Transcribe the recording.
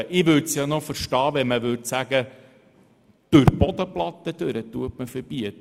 Ich hätte noch Verständnis, wenn es verboten wäre, durch die Bodenplatte hindurch zu bohren.